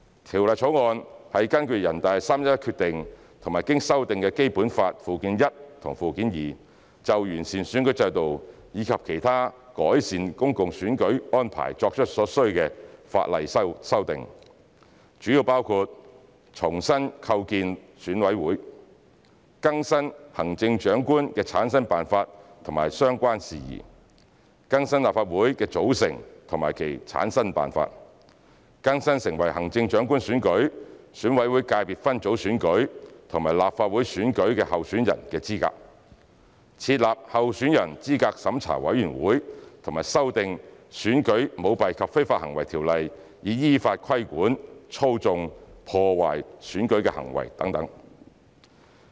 《條例草案》是根據《決定》和經修訂的《基本法》附件一和附件二，就完善選舉制度及其他改善公共選舉安排作出所需的法例修訂，主要包括重新構建選委會、更新行政長官的產生辦法及相關事宜、更新立法會的組成及其產生辦法、更新成為行政長官選舉、選委會界別分組選舉及立法會選舉的候選人的資格、設立候選人資格審查委員會和修訂《選舉條例》以依法規管操縱、破壞選舉的行為等。